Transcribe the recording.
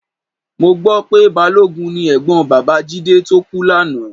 Mo gbọ́ pé balógun ni ẹ̀gbọ́n bàbá Jídé tó kú lánàá